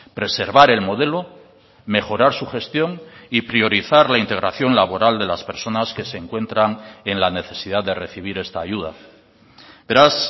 preservar el modelo mejorar su gestión y priorizar la integración laboral de las personas que se encuentran en la necesidad de recibir esta ayuda beraz